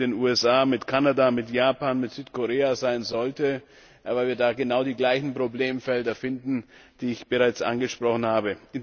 mit den USA, mit Kanada, mit Japan, mit Südkorea sein sollte, weil wir da genau die gleichen Problemfelder finden, die ich bereits angesprochen habe.